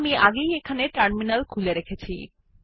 আমি আগেই এখানে টার্মিনাল খুলে রেখেছি